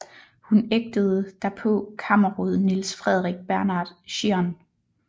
Hun ægtede derpå kammerråd Niels Frederik Bernhard Schiern